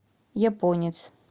японец